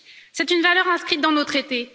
C'est une valeur inscrite dans nos traités.